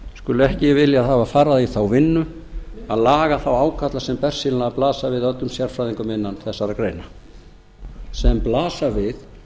skuli ekki hafa viljað fara í þá vinnu að laga þá ágalla sem bersýnilega blasa við öllum sérfræðingum innan þessarar greinar sem blasa við